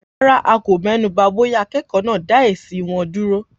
Rárá, a kò mẹ́nuba bóyá akẹ́kọ̀ọ́ náà dá èsì wọn dúró.